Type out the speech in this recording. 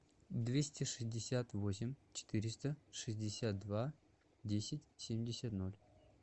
двести шестьдесят восемь четыреста шестьдесят два десять семьдесят ноль